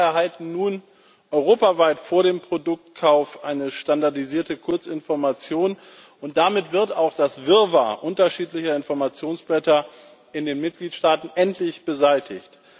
Die Verbraucher erhalten nun europaweit vor dem Produktkauf eine standardisierte Kurzinformation, und damit wird auch das Wirrwarr unterschiedlicher Informationsblätter in den Mitgliedstaaten endlich beseitigt.